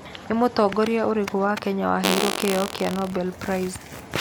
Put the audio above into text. Nĩ mũtongoria ũrĩkũ wa Kenya waheirũo kĩheo kĩa Nobel Peace Prize?